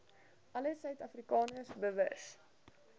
alle suidafrikaners bewus